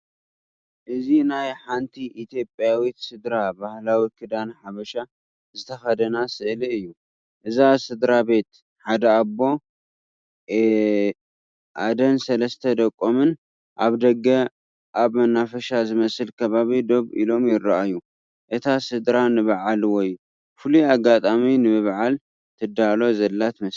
እዚ ናይ ሓንቲ ኢትዮጵያዊት ስድራ ባህላዊ ክዳን ሓበሻ ዝተኸድና ስእሊ እዩ። እዛ ስድራቤት፡ ሓደ ኣቦ፡ ኣደን ሰለስተ ደቆምን፡ ኣብ ደገ ኣብ መናፈሻ ዝመስል ከባቢ ደው ኢሎም ይራኣዩ። እታ ስድራ ንበዓል ወይ ፍሉይ ኣጋጣሚ ንምብዓል ትዳሎ ዘላ ትመስል።